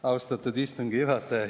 Austatud istungi juhataja!